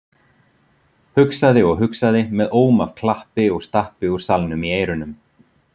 Hugsaði og hugsaði með óm af klappi og stappi úr salnum í eyrunum.